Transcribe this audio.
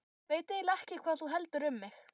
Veit eiginlega ekki hvað þú heldur um mig.